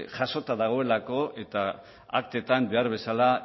jasota dagoelako eta aktetan behar bezala